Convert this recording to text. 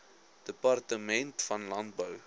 departement van landbou